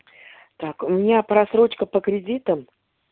так у меня просрочка по кредитам